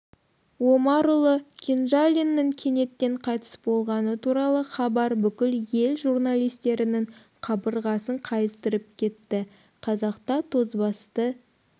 омарұлы кенжалиннің кенеттен қайтыс болғаны туралы хабар бүкіл ел журналистерінің қабырғасын қайыстырып кетті қазақта тозбасты